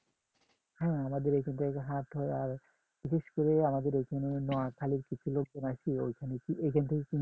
হ্যাঁ আমাদের এখান থেকে হাট হয় আর বিশেষ করে আমাদের এখানে নোয়াখালীর কিছু লোকজন আসে ওইখানে ওইখান থেকে কিনে নিয়ে